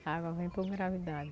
A água vem por gravidade.